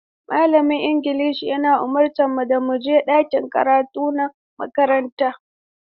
Malamin Ingilishi ya umarce mu da mu je ɗakin karatu na makaranta.